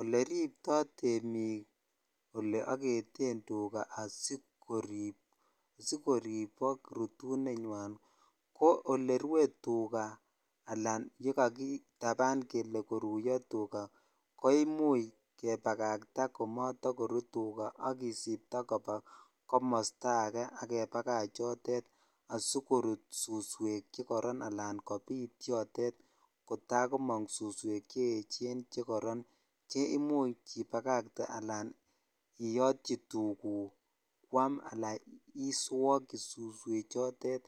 Oleribto temik oleoketen tukaa asikorib sikoribok rutunenywan ko olee rwee tukaa alaan olekakitaban kelee koruyo tukaa ko imuch kebakakta komotokruu tukaa ak kisipto kobaa komosto akee ak kebakach yotet asikorut suswek chekoron alaan kobiit yotet kotakobit suswek che echen che koron che imuch ibakakte alaan iyotyi tukuk kwaam alaan iswokyi suswechotet